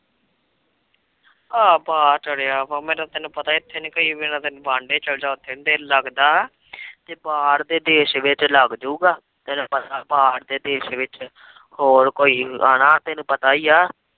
ਦਿਲ ਲੱਗਦਾ ਬਾਹਰ ਦੇ ਦੇਸ਼ ਵਿੱਚ ਲੱਗ ਜੁਗਾ ਬਾਹਰ ਦੇ ਦੇਸ਼ ਵਿੱਚ ਹੋਰ ਕੋਈ ਆਣਾ ਤੈਨੂੰ ਪਤਾ ਈਆ